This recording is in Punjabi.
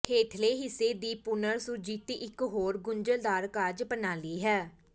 ਹੇਠਲੇ ਹਿੱਸੇ ਦੀ ਪੁਨਰ ਸੁਰਜੀਤੀ ਇਕ ਹੋਰ ਗੁੰਝਲਦਾਰ ਕਾਰਜ ਪ੍ਰਣਾਲੀ ਹੈ